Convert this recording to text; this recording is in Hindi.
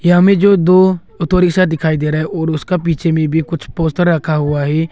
हमें जो दो ऑटो रिक्शा दिखाई दे रहा है और उसका पीछे में भी कुछ पोस्टर रखा हुआ है।